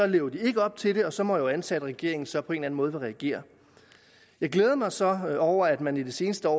lever de ikke op til det og så må antage at regeringen så på en måde vil reagere jeg glæder mig så over at man i det seneste år